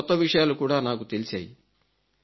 చాలా కొత్త విషయాలు కూడా నాకు తెలిశాయి